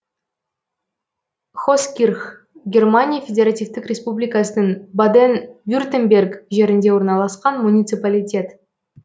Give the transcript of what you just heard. хоскирх германия федеративтік республикасының баден вюртемберг жерінде орналасқан муниципалитет